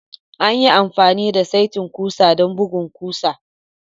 An yi amfani da saitin ƙusa don bugun ƙusa.